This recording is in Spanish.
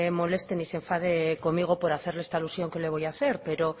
moleste ni se enfade conmigo por hacerle esta alusión que le voy a hacer pero